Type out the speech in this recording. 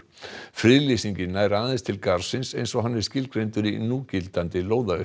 friðlýsingin nær aðeins til garðsins eins og hann er skilgreindur í núgildandi